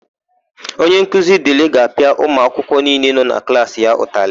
Onyenkuzi Dịlị ga-apịa ụmụakwụkwọ niile nọ na klaasị ya ụtalị.